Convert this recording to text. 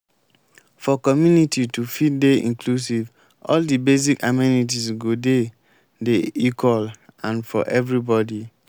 for community to fit dey inclusive all di basic amenities go dey dey equal and for everybody